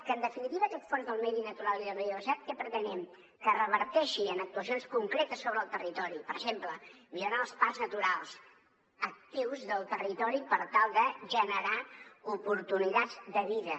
que en definitiva amb aquest fons per al medi natural i la biodiversitat què pretenem que reverteixi en actuacions concretes sobre el territori per exemple millorant els parcs naturals actius del territori per tal de generar oportunitats de vida